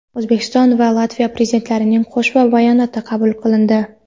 O‘zbekiston va Latviya Prezidentlarining Qo‘shma bayonoti qabul qilindi .